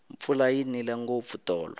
mpfula yi nile ngopfu tolo